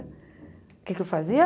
O que é que eu fazia?